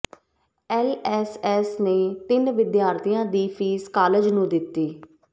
LSS ਨੇ ਤਿੰਨ ਵਿਦਿਆਰਥੀਆਂ ਦੀ ਫੀਸ ਕਾਲਜ ਨੂੰ ਦਿੱਤੀ